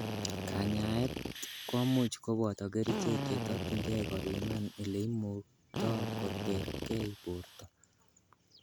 Kanyaet komuch koboto kerichek chetokyingei kopiman ileimukto koterkei borto.